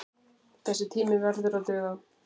Þessi tími verði að duga.